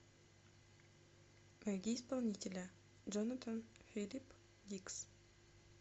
найди исполнителя джонатан филип дикс